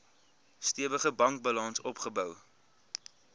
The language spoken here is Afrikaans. stewige bankbalans opgebou